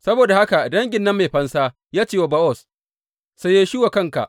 Saboda haka dangin nan mai fansa ya ce wa Bowaz, Saye shi wa kanka.